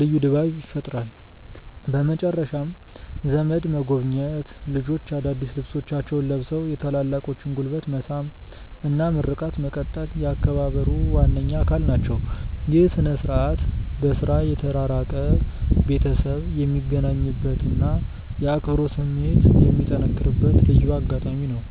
ልዩ ድባብ ይፈጥራል። በመጨረሻም ዘመድ መጎብኘት፣ ልጆች አዳዲስ ልብሶቻቸውን ለብሰው የታላላቆችን ጉልበት መሳም እና ምርቃት መቀበል የአከባበሩ ዋነኛ አካል ናቸው። ይህ ሥነ-ሥርዓት በሥራ የተራራቀ ቤተሰብ የሚገናኝበትና የአብሮነት ስሜት የሚጠነክርበት ልዩ አጋጣሚ ነው።